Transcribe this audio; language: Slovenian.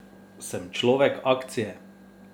Sem človek akcije.